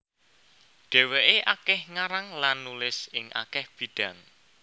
Dhèwèké akèh ngarang lan nulis ing akèh bidang